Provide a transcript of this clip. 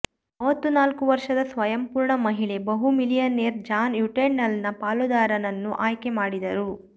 ಮೂವತ್ತ ನಾಲ್ಕು ವರ್ಷದ ಸ್ವಯಂಪೂರ್ಣ ಮಹಿಳೆ ಬಹು ಮಿಲಿಯನೇರ್ ಜಾನ್ ಯುಟೆಂಡಲ್ನ ಪಾಲುದಾರನನ್ನು ಆಯ್ಕೆ ಮಾಡಿದರು